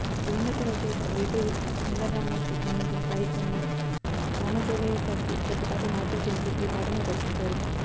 దివంగత రచయిత వేటూరి సుందరరామ్మూర్తి అందించిన సాహిత్యంలో రామజోగయ్య శాస్త్రి కొద్దిపాటి మార్పులు చేసి ఈ పాటను రచించారు